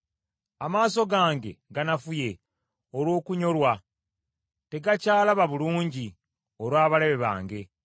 Amaaso gange ganafuye olw’okunyolwa, tegakyalaba bulungi olw’abalabe bange.